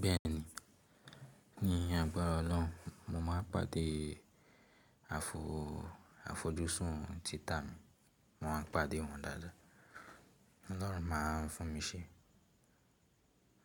Bẹ́ẹ̀ni, ní agbára Ọlọ́run, mo máa pàdé àfojúsùn títà mi. Mo máa pàdé wọn dáadáa. Ọlọ́run máa fún mi sẹ.